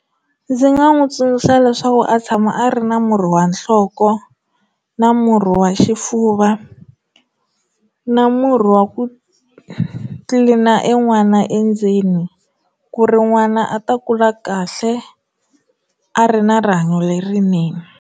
Ndzi nga n'wi tsundzuxa leswaku a tshama a ri na murhi wa nhloko, na murhi wa xifuva, na murhi wa ku tlilina en'wana endzeni ku ri n'wana a ta kula kahle a ri na rihanyo lerinene.